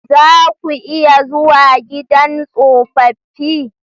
Za ku iya zuwa gidan tsofaffi?